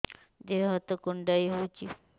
ଦେହ ହାତ କୁଣ୍ଡାଇ ହଉଛି